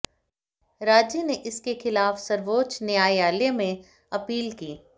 राज्य ने इसके खिलाफ सर्वोच्च न्यायालय में अपील की